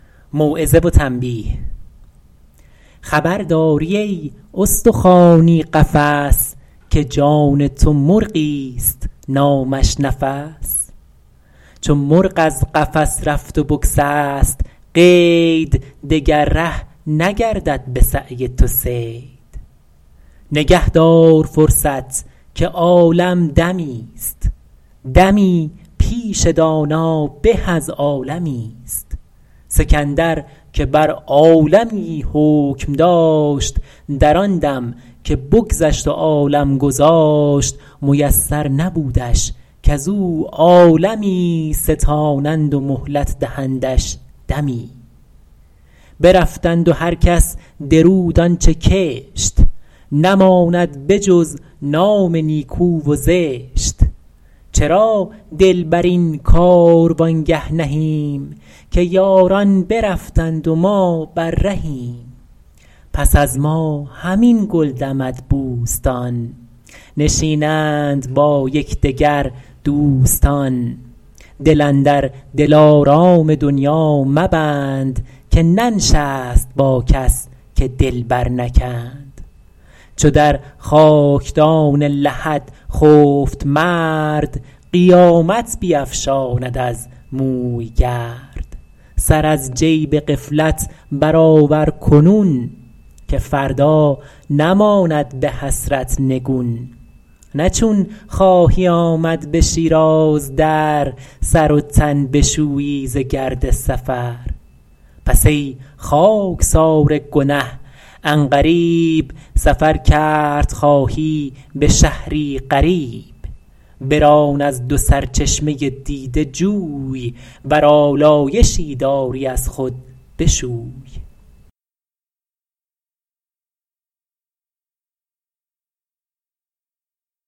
خبر داری ای استخوانی قفس که جان تو مرغی است نامش نفس چو مرغ از قفس رفت و بگسست قید دگر ره نگردد به سعی تو صید نگه دار فرصت که عالم دمی است دمی پیش دانا به از عالمی است سکندر که بر عالمی حکم داشت در آن دم که بگذشت و عالم گذاشت میسر نبودش کز او عالمی ستانند و مهلت دهندش دمی برفتند و هر کس درود آنچه کشت نماند به جز نام نیکو و زشت چرا دل بر این کاروانگه نهیم که یاران برفتند و ما بر رهیم پس از ما همین گل دمد بوستان نشینند با یکدگر دوستان دل اندر دلارام دنیا مبند که ننشست با کس که دل بر نکند چو در خاکدان لحد خفت مرد قیامت بیفشاند از موی گرد سر از جیب غفلت برآور کنون که فردا نماند به حسرت نگون نه چون خواهی آمد به شیراز در سر و تن بشویی ز گرد سفر پس ای خاکسار گنه عن قریب سفر کرد خواهی به شهری غریب بران از دو سرچشمه دیده جوی ور آلایشی داری از خود بشوی